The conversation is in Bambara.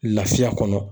Lafiya kɔnɔ